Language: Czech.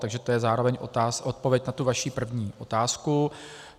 Takže to je zároveň odpověď na tu vaši první otázku.